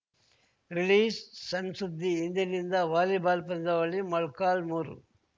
ರಿಲೀಸ್‌ಸಣ್‌ಸುದ್ದಿ ಇಂದಿನಿಂದ ವಾಲಿಬಾಲ್‌ ಪಂದ್ಯಾವಳಿ ಮೊಳಕಾಲ್ಮುರು